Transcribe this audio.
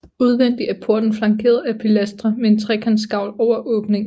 Udvendig er porten flankeret af pilastre med en trekantgavl over åbningen